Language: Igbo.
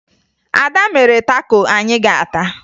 Ada mere tako anyị ga-ata